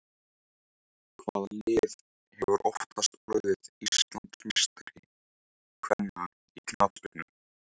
Hvaða lið hefur oftast orðið Íslandsmeistari kvenna í knattspyrnu?